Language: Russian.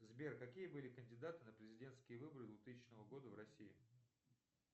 сбер какие были кандидаты на президентские выборы двухтысячного года в россии